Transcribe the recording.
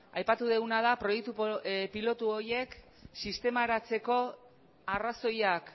aipatu duguna da proiektu pilotu horiek sistemaratzeko arrazoiak